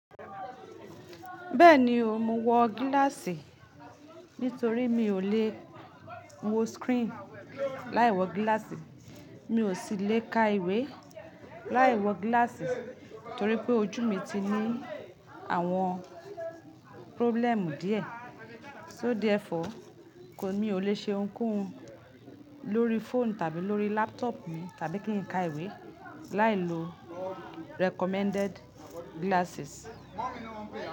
Bẹ́ẹ̀ni o, mo wọ gíláàsì torí mi ò le wo screen láì wọ gíláàsì. Mi ò sì le ka ìwé láì wọ gíláàsì torí pé ojú mi ti ní àwọn problem díẹ̀. So therefore, mi ò le ṣe ohunkóhun lórí phone tàbí lórí laptop mi tàbí kí n ka ìwé láìlo recommended glasses.